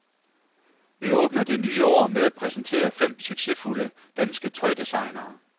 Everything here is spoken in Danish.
Vi åbner det nye år med at præsentere fem succesfulde danske tøjdesignere.